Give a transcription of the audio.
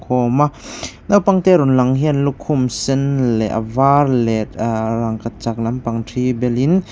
a awm a naupang te rawn lang hian lukhum sen leh a var leh ahh rangkachak lampang thi belin--